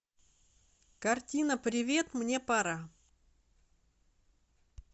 картина привет мне пора